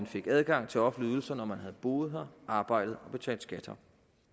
fik adgang til offentlige ydelser når man havde boet her arbejdet og betalt skat her